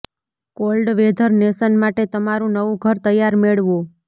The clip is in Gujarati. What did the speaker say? કોલ્ડ વેધર નેશન માટે તમારું નવું ઘર તૈયાર મેળવો